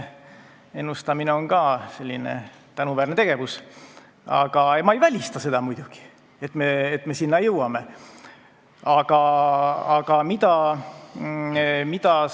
Ennustamine on "tänuväärne" tegevus, aga ma ei välista muidugi, et me nende riikide hulka jõuame.